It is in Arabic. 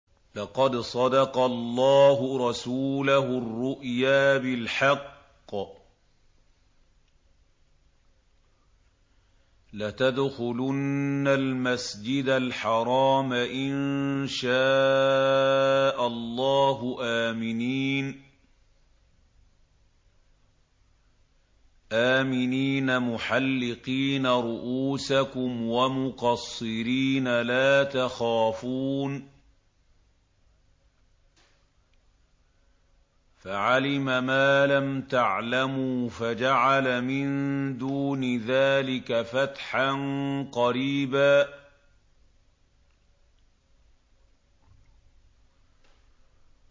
لَّقَدْ صَدَقَ اللَّهُ رَسُولَهُ الرُّؤْيَا بِالْحَقِّ ۖ لَتَدْخُلُنَّ الْمَسْجِدَ الْحَرَامَ إِن شَاءَ اللَّهُ آمِنِينَ مُحَلِّقِينَ رُءُوسَكُمْ وَمُقَصِّرِينَ لَا تَخَافُونَ ۖ فَعَلِمَ مَا لَمْ تَعْلَمُوا فَجَعَلَ مِن دُونِ ذَٰلِكَ فَتْحًا قَرِيبًا